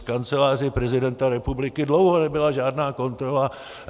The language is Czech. V Kanceláři prezidenta republiky dlouho nebyla žádná kontrola.